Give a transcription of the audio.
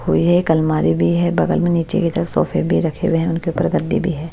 हुई है एक अलमारी भी है बगल में नीचे की तरफ सोफे भी रखे हुए हैं उनके ऊपर गद्दी भी है।